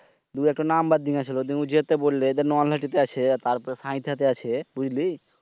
দুই একটা নাম্বার দিতেছিল। যদি যেতে বললে তারপর পাতাতে আছে বুঝলি?